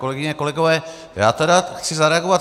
Kolegyně, kolegové, já chci tedy zareagovat.